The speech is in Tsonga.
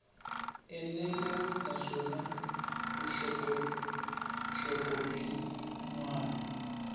enela naswona vuxokoxoko byin wana